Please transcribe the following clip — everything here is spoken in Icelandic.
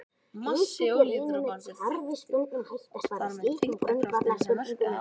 Massi olíudropans var þekktur og þar með þyngdarkrafturinn sem verkaði á hann.